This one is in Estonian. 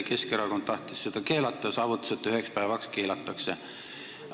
Keskerakond tahtis seda keelata ja saavutas, et üheks päevaks keelataksegi.